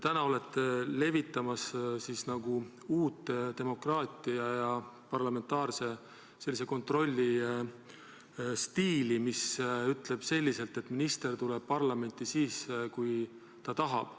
Teie olete täna levitamas nagu uut demokraatiat, parlamentaarse kontrolli sellist stiili, mille kohaselt minister tuleb parlamenti siis, kui ta tahab.